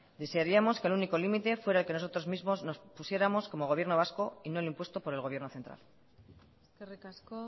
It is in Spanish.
desearíamos que el único límite fuera el que nosotros mismos nos pusiéramos como gobierno vasco y no el impuesto por el gobierno central eskerrik asko